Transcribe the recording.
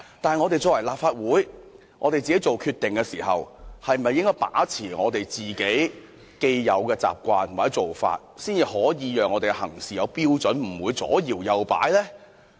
但是，立法會在作出決定時是否應把持既有的習慣或做法，才可有一套行事標準，不致左搖右擺？